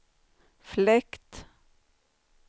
fläkt